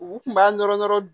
U kun b'a dɔrɔn